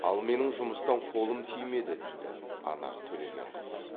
ал менің жұмыстан қолым тимеді дейді анар төлегенқызы